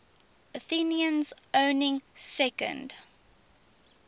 athenians owning second